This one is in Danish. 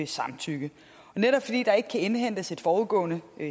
samtykke netop fordi der ikke kan indhentes et forudgående